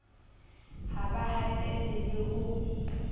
ha ba hatelle le ho